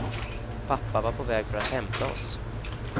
Pappa var på väg för att hämta oss.